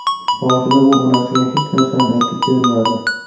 Boshida u onasiga hech narsani aytib bermadi.